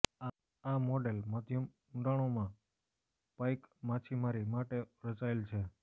આ મોડેલ મધ્યમ ઊંડાણોમાં પાઇક માછીમારી માટે રચાયેલ છે